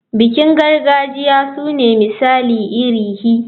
Bikin gargajiya sune misali iri hi.